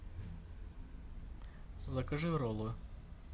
закажи роллы